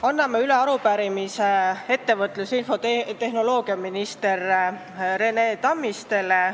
Anname üle arupärimise ettevõtlus- ja infotehnoloogiaminister Rene Tammistile.